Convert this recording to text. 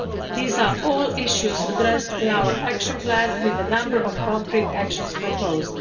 These are all issues addressed in our action plan with a number of concrete actions proposed.